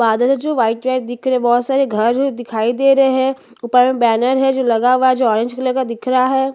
इस इमेज मुझे एक बस स्टैंड दिख रहा है जो बहोत सारे बस है खड़े हुए है जो वाइट और भोर भू और बड़े छोटे बस दिखाई दे जो वाइट के दिख रहे है एक आसमानी रंग--